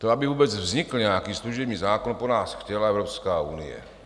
To, aby vůbec vznikl nějaký služební zákon, po nás chtěla Evropská unie.